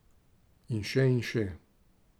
In še in še...